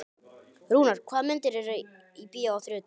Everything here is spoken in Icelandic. Rúnar, hvaða myndir eru í bíó á þriðjudaginn?